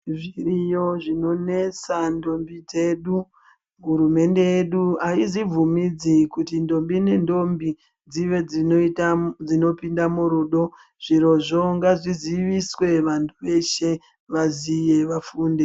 Zviriyo zvinonetsa ndombu dzedh hurumende yedu aizvibvumidzi kuti ndombi nendombi dzive dzinopinda murudo zvirozvo ngazvizive vantu veshe vaziev